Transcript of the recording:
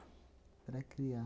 Para criar.